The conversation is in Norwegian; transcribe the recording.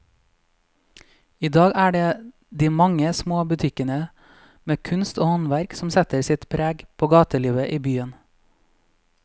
I dag er det de mange små butikkene med kunst og håndverk som setter sitt preg på gatelivet i byen.